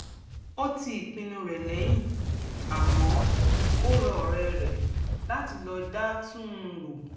ó ti ìpinnu rẹ̀ lẹ́yìn àmọ́ ó rọ ọ̀rẹ́ rẹ̀ láti lọ dá tú́n un rò